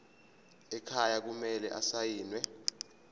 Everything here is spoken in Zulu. ekhaya kumele asayiniwe